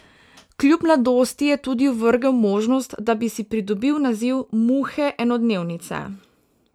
Kljub mladosti je tudi ovrgel možnost, da bi si pridobil naziv muhe enodnevnice.